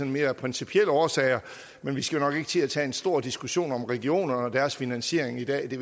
mere af principielle årsager men vi skal jo nok ikke til at tage en stor diskussion om regionerne og deres finansiering i dag det